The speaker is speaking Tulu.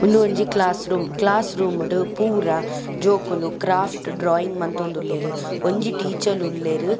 ಉಂದು ಒಂಜಿ ಕ್ಲಾಸ್ ರೂಮ್ ಕ್ಲಾಸ್ ರೂಮ್ ಡು ಪೂರ ಜೋಕುಲು ಕ್ರಾಫ್ಟ್ ಡ್ರಾಯಿಂಗ್ ಮಂತೊಂದುಲ್ಲೆರ್ ಒಂಜಿ ಟೀಚಲ್ ಉಲ್ಲೆರ್.